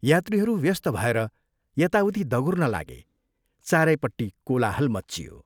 यात्रीहरू व्यस्त भएर यताउति दगुर्न लागे चारैपट्टि कोलाहल मच्चियो।